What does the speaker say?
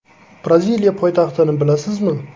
Braziliya poytaxtini bilasizmi?